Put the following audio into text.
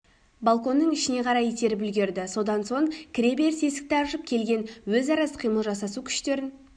балконның ішіне қарай итеріп үлгерді содан соң кіреберіс есікті ашып келген өзара іс-қимыл жасасу күштерін